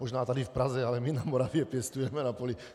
Možná tady v Praze, ale my na Moravě pěstujeme na poli.